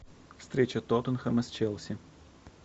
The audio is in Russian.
встреча тоттенхэма с челси